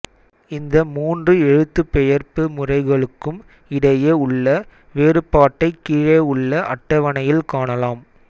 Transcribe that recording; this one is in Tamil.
இந்த மூன்று எழுத்துப்பெயர்ப்பு முறைகளுக்கும் இடையே உள்ள வேறுபாட்டைக் கீழே உள்ள அட்டவணையில் காணலாம்